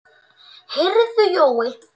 Heyrðu Jói.